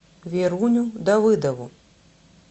веруню давыдову